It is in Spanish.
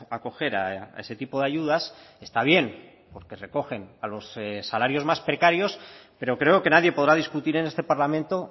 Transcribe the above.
acoger a ese tipo de ayudas está bien porque recogen a los salarios más precarios pero creo que nadie podrá discutir en este parlamento